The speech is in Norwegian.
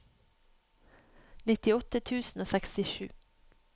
nittiåtte tusen og sekstisju